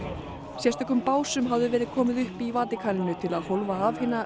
sérstökum básum hafði verið komið upp í Vatíkaninu til að hólfa af hina